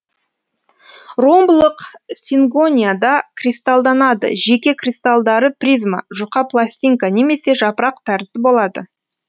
ромбылық сингонияда кристалданады жеке кристалдары призма жұқа пластинка немесе жапырақ тәрізді болады